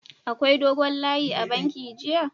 Akwai dogon layi a'banki jiya??